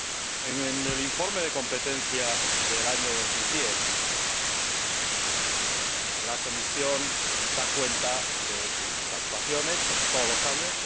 En el informe sobre la política de competencia del año 2010, la Comisión da cuenta de sus actuaciones, como todos los años